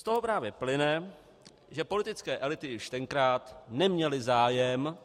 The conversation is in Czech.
Z toho právě plyne, že politické elity již tenkrát neměly zájem